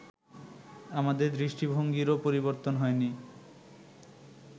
আমাদের দৃষ্টিভঙ্গিরও পরিবর্তন হয়নি